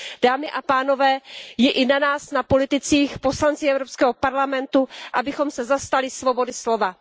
Dámy a pánové, je i na nás, na politicích, poslancích Evropského parlamentu, abychom se zastali svobody slova.